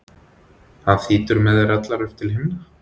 hann þýtur með þær allar upp til himna.